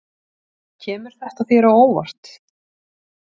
Kemur þetta þér á óvart?